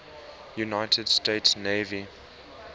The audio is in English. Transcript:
united states navy